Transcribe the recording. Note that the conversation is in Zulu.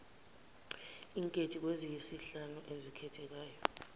inkethi kweziyisihlanu oyikhethayo